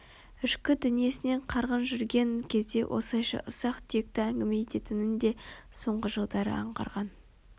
Ішкі дүниесінен қарғын жүрген кезде осылайша ұсақ-түйекті әңгіме ететінін де соңғы жылдары аңғарған